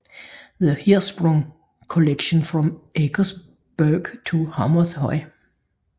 The Hirschsprung Collection from Eckersberg to Hammershøi